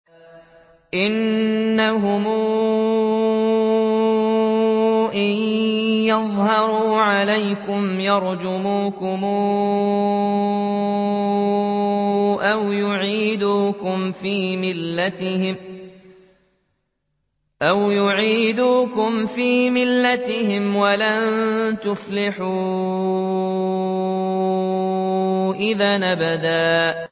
إِنَّهُمْ إِن يَظْهَرُوا عَلَيْكُمْ يَرْجُمُوكُمْ أَوْ يُعِيدُوكُمْ فِي مِلَّتِهِمْ وَلَن تُفْلِحُوا إِذًا أَبَدًا